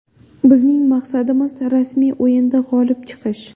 Bizning maqsadimiz rasmiy o‘yinda g‘olib chiqish.